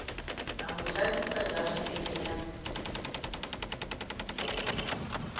a mo jakisa jareteng ya